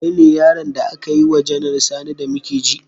Kai ne yaron da aka yi wa Janar Sani da muke ji?